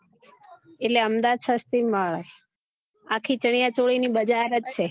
અમદાવાદ સસ્તી મળે આખી ચણ્યા ચોળી ની બજાર જ છે